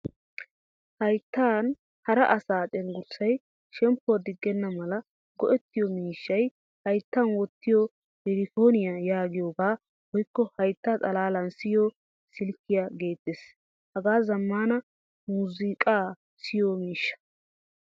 Hayttan hara asa cenggurssay shemppuwaa diggenamala go'ettiyo miishshay hayttan wottiyo iripooniya yaagiyogaa woykko haytta xalalan siyo silkiyaa gettees. Hage zamaana muuzzuqqa siyo miishshaa.